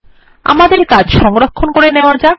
আমাদের কাজ সংরক্ষণ করে নেওয়া যাক